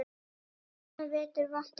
Svona vetur vont er mein.